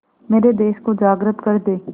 मेरे देश को जागृत कर दें